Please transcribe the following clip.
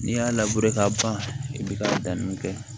N'i y'a labure k'a ban i bɛ ka danni kɛ